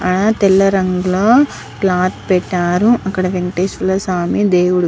ఆ తెల్ల రంగు లో క్లోత్ పెట్టరు అక్కడ వెంకటేశ్వర స్వామి దేవుడి --